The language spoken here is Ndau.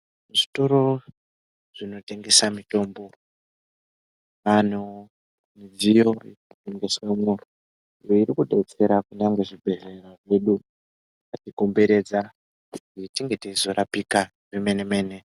Zvitoro zvinotengesa mutombo antu mudZiyo inotengeswemwo iyo iri kudetsera kuda ngezvibhedhlera zvedu zvakatikomberedza kuti tinge teizorapika zvemene mene.